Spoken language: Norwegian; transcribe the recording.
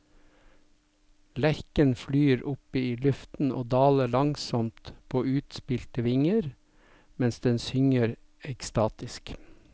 Lerken flyr opp i luften og daler langsomt på utspilte vinger, mens den synger ekstatisk.